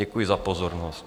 Děkuji za pozornost.